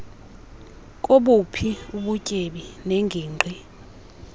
kobuphi ubutyebi neengingqi